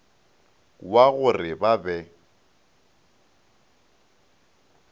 wa go re ba be